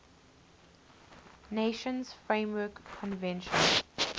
nations framework convention